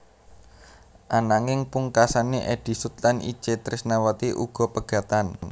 Ananging pungkasané Eddy Sud lan Itje Trisnawati uga pegatan